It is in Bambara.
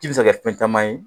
Ji bɛ se ka kɛ fɛn caman ye